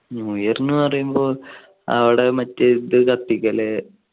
new year പറയുമ്പോ അവിടെ മറ്റേ ഇത് കത്തിക്കല്.